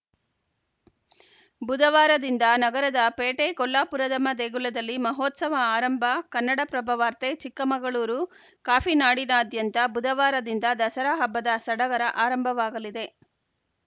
ಬುಧವಾರದಿಂದ ನಗರದ ಪೇಟೆ ಕೊಲ್ಲಾಪುರದಮ್ಮ ದೇಗುಲದಲ್ಲಿ ಮಹೋತ್ಸವ ಆರಂಭ ಕನ್ನಡಪ್ರಭ ವಾರ್ತೆ ಚಿಕ್ಕಮಗಳೂರು ಕಾಫಿ ನಾಡಿನಾದ್ಯಂತ ಬುಧವಾರದಿಂದ ದಸರಾ ಹಬ್ಬದ ಸಡಗರ ಆರಂಭವಾಗಲಿದೆ